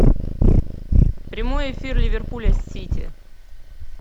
прямой эфир ливерпуля с сити